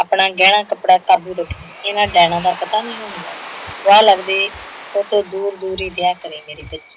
ਆਪਣਾ ਗਹਿਣਾ ਕੱਪੜਾ ਕਾਬੂ ਰੱਖੀਂ। ਇਹਨਾਂ ਡੈਣਾ ਦਾ ਪਤਾ ਨਈਓ ਹੁੰਦਾ, ਵਾਹ ਲਗਦੇ ਓਹਤੋਂ ਦੂਰ ਦੂਰ ਹੀ ਰਿਹਾ ਕਰੀਂ ਮੇਰੀ ਬੱਚੀ